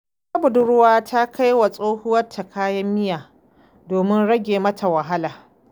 Wata budurwa ta kai wa tsohuwarta kayan miya domin rage mata wahala.